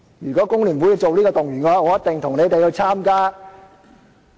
如果工聯會這樣動員的話，我一定會參與。